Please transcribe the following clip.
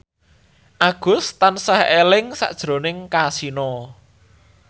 Agus tansah eling sakjroning Kasino